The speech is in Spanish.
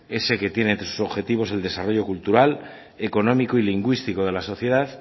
ese que tiene entre sus objetivos el desarrollo cultural económico y lingüístico de la sociedad